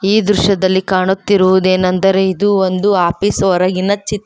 ಈ ದೃಶ್ಯದಲ್ಲಿ ಕಾಣುತ್ತಿರುವುದೇನಂದರೆ ಇದು ಒಂದು ಆಫೀಸ್ ಹೊರಗಿನ ಚಿ--